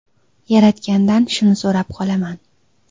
Yaratgandan shuni so‘rab qolaman.